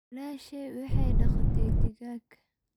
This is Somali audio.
Walashey waxay dagatay digag.